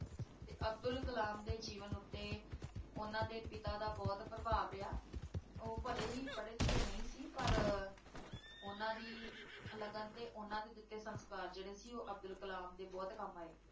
ਤੇ ਅਬਦੁਲ ਕਲਾਮ ਦੇ ਜੀਵਨ ਉੱਤੇ ਉਹਨਾਂ ਦੇ ਪਿਤਾ ਦਾ ਬਹੁਤ ਪ੍ਰਭਾਵ ਰਿਹਾ, ਉਹ ਭਲੇ ਹੀ ਪੜ੍ਹੇ-ਲਿਖੇ ਨਹੀਂ ਸੀ, ਪਰ ਉਹਨਾਂ ਦੀ ਲਗਨ ਅਤੇ ਉਹਨਾਂ ਦੇ ਦਿੱਤੇ ਸੰਸਕਾਰ ਜਿਹੜੇ ਸੀ ਉਹ ਅਬਦੁਲ ਕਲਾਮ ਦੇ ਬਹੁਤ ਕੰਮ ਆਏ।